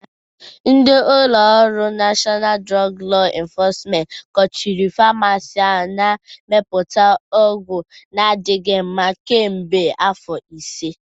Ndị ụlọ ọrụ Nashọnal Drọg Lọ enfọsment kpụchirị famasi ahụ na-emepụta ọgwọ adịgboloja kamgbe afọ ise.